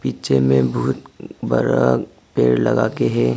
पीछे में बहुत बड़ा पेड़ लगा के है।